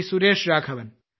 Suresh Raghavan